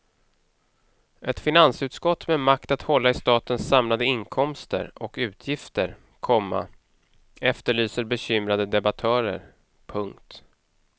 Ett finansutskott med makt att hålla i statens samlade inkomster och utgifter, komma efterlyser bekymrade debattörer. punkt